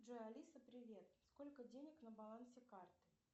джой алиса привет сколько денег на балансе карты